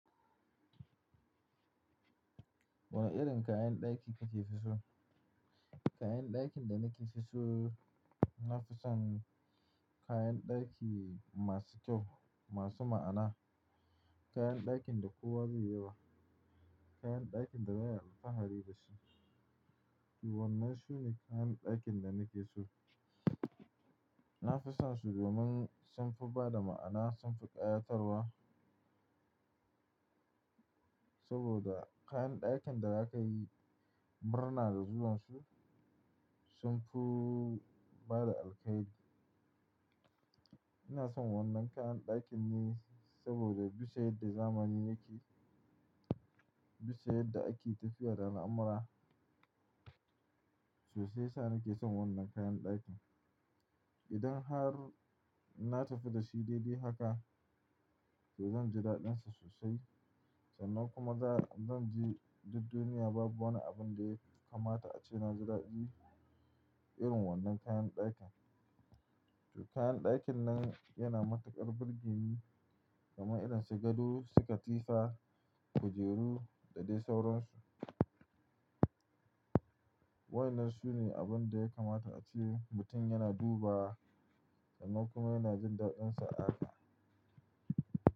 Wane irin kayan ɗaki kike fi so? Kayan ɗakin da nake so, nafi son kayan ɗaki masu kyau, masu ma'ana, kayan ɗakin da kowa bai yi ba, kayan ɗakin da baya alfahari da su. To wannan sune kayan ɗakin da nake so. Nafison su domin sunfi bada ma'ana sunfi ƙayatarwa. Saboda kayan ɗakin da za ka yi murna da zuwan su sunfi bada alkhairi. Ina son wannan kayan ɗakin ne saboda bisa yadda zamani yake, bisa yadda ake tafiya da al'amura, so shi yasa nake son wannan kayan ɗakin. Idan har na tafi da shi daidai haka, to zan ji daɗinsa sosai sannan kuma za-zan ji duk duniya babu wani abin da ya kamata a ce na ji daɗi irin wannan kayan ɗakin. To kayan ɗakin nan yana matuƙar birgini domin irin su gado, su katifa, kujeru da dai sauran su. Wa yana so ne abin da ya kamata a ce mutum yana duba sannan kuma yana jin daɗinsa a haka.